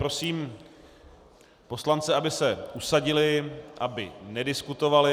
Prosím poslance, aby se usadili, aby nediskutovali.